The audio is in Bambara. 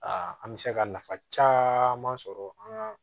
an bɛ se ka nafa caman sɔrɔ an ka